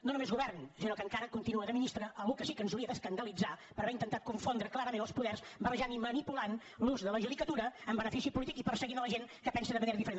no només govern sinó que encara continua de ministre algú que sí que ens hauria d’escandalitzar per haver intentat confondre clarament els poders barrejant i manipulant l’ús de la judicatura en benefici polític i perseguint la gent que pensa de manera diferent